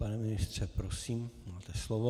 Pane ministře, prosím, máte slovo.